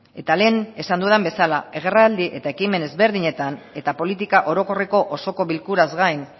eta lehen esan dudan bezala agerraldi eta ekimen desberdinetan eta politika orokorreko osoko bilkuraz gain